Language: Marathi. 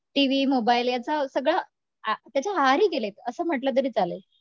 टीव्ही मोबाइल याचा सगळा, त्याच्या, त्याच्या आहारी गेलेयत असं म्हटलं तरी चालेल